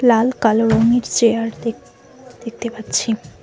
লাল কালো রঙের চেয়ার দেখ দেখতে পাচ্ছি।